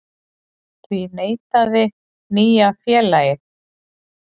Því neitaði nýja félagið